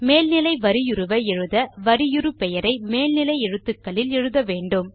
மேல் நிலை வரியுருவை எழுத வரியுரு பெயரை மேல் நிலை எழுத்துக்களில் எழுத வேண்டும்